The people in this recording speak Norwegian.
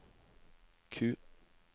Q